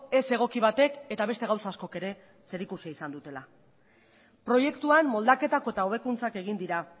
ez egoki batek eta beste gauza askok ere zerikusia izan dutela proiektuan moldaketak eta hobekuntzak egin dira